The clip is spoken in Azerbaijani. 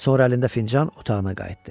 Sonra əlində fincan otağına qayıtdı.